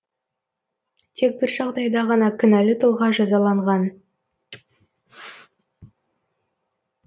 тек бір жағдайда ғана кінәлі тұлға жазаланған